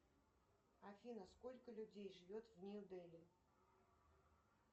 афина сколько людей живет в нью дели